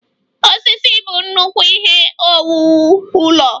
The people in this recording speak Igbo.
Osisi bụ nnukwu ihe owuwu ụlọ.